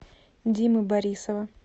димы борисова